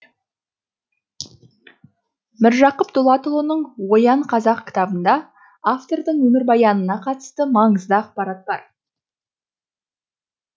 міржақып дулатұлының оян қазақ кітабында автордың өмірбаянына қатысты маңызды ақпарат бар